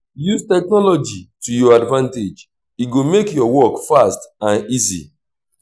use technology to your advantage e go make your work fast and easy